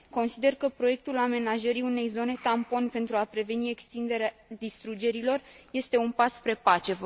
Consider că proiectul amenajării unei zone tampon pentru a preveni extinderea distrugerilor este un pas spre pace.